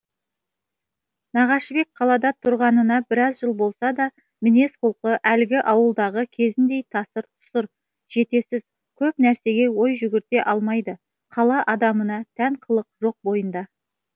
нағашыбек қалада тұрғанына біраз жыл болса да мінез құлқы әлгі ауылдағы кезіндей тасыр тұсыр жетесіз көп нәрсеге ой жүгірте алмайды қала адамына тән қылық жоқ бойында